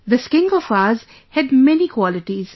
This king of ours had many qualities